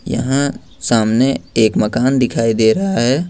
यहाँ सामने एक मकान दिखाई दे रहा है।